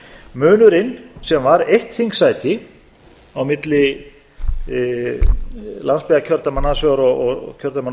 munurinn sem var eitt þingsæti á milli landsbyggðarkjördæma annars vegar og kjördæmanna á